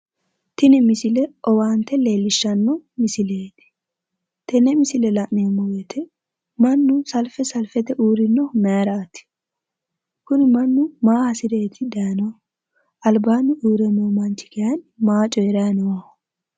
Tini misile owaante leellishshanno misileeti tenne misile la'neemo woyite mannu salfe salfete uurrinohu mayiraati kuni mannu maa hasireeti dayinohu albaanni uurre noo manchi kayinni maa coyiraa nooho